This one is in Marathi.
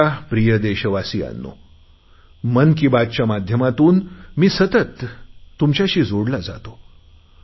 माझ्या प्रिय देशवासियांनो मन की बात माध्यमातून मी सतत तुमच्याशी जोडला जातो